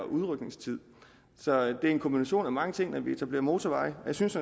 udrykningstid det er en kombination af mange ting når vi etablerer motorveje og jeg synes